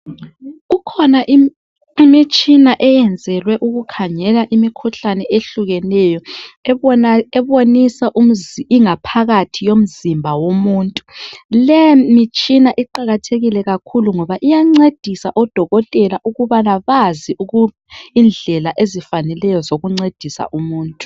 Kukhona imitshina eyenzelwe ukukhangela imikhuhlane ehlukeneyo ebonisa ingaphakathi yomzimba womuntu le mitshina iqakathekile kakhulu ngoba iyancedisa odokotela ukuba bazi indlela ezifaneleyo zokuncedisa umuntu